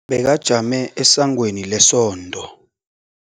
Bekajame esangweni lesonto.